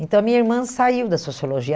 Então, a minha irmã saiu da sociologia.